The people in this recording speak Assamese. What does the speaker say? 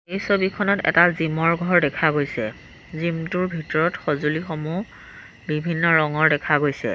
এই ছবিখনত এটা জিমৰ ঘৰ দেখা গৈছে জিমটোৰ ভিতৰত সঁজুলিসমূহ বিভিন্ন ৰঙৰ দেখা গৈছে।